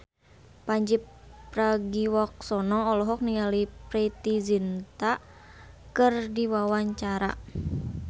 Pandji Pragiwaksono olohok ningali Preity Zinta keur diwawancara